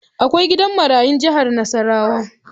Akwai gidan marayun jihar Nasarawa.